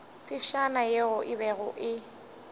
phefšana ye e bego e